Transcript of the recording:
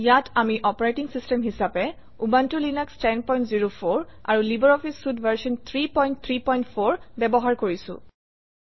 ইয়াত আমি operating system হিচাপে উবুনটো লিনাস 1004 আৰু লাইব্ৰঅফিছ চুইতে ভাৰ্চন 334 ব্যৱহাৰ কৰিছোঁ